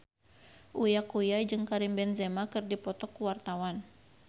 Uya Kuya jeung Karim Benzema keur dipoto ku wartawan